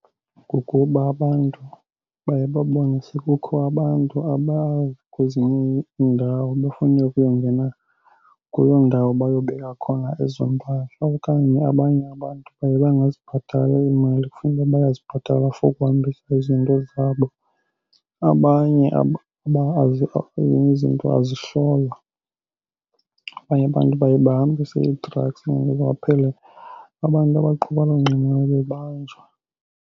Kukuba abantu baye babone sekukho abantu abakwezinye iindawo bafune ukuyongena kuloo ndawo bayobeka khona ezo mpahla. Okanye abanye abantu baye bangazibhatali iimali ekufuneke bayazibhatala for ukuhambisa izinto zabo. Abanye ezinye izinto azihlolwa. Abanye abantu baye bahambise ii-drugs. Ke ngoku baphele abantu abaqhuba loo nqanawe bebanjwa.